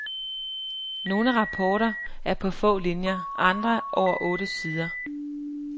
Nogle rapporter er på få linier, andre over otte sider.